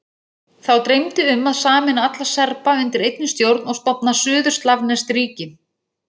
Þá dreymdi um að sameina alla Serba undir einni stjórn og stofna suður-slavneskt ríki.